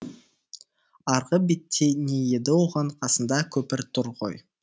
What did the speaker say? арғы бетте не еді оған қасында көпір тұр ғой